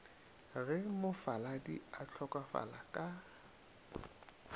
ge mofaladi a hlokofala ka